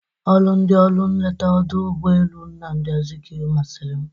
Ọrụ ndị ọrụ nleta ọdụ ụgbọelu Nnamdị Azikiwe masịrị m.